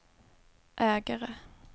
ägare